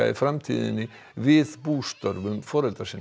framtíðinni við bústörfum foreldra sinna